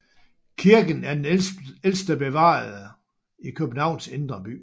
Kirken er den ældste bevarede i Københavns indre by